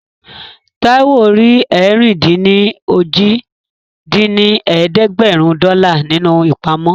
Táíwò rí ẹ̀rin-dín-ní-ojì dín ní ẹ̀ẹ́dẹ́gbẹ́rún dọ́là nínú ìpamọ́